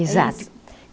Exato.